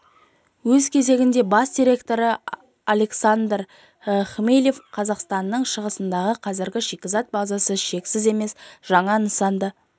өз кезегінде бас директоры александр хмелев қазақстанның шығысындағы қазіргі шикізат базасы шексіз емес жаңа нысанды